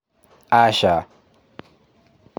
aca!